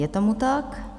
Je tomu tak.